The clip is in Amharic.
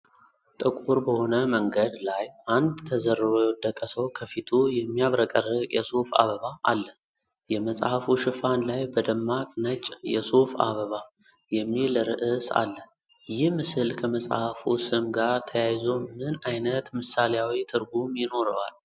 ጥቁር በሆነ መንገድ ላይ፣ አንድ ተዘርሮ የወደቀ ሰው ከፊቱ የሚያብረቀርቅ የሱፍ አበባ አለ። የመጽሐፉ ሽፋን ላይ በደማቅ ነጭ "የሱፍ አበባ" የሚል ርዕስ አለ። ይህ ምስል ከመጽሐፉ ስም ጋር ተያይዞ ምን አይነት ምሳሌያዊ ትርጉም ይኖረዋል?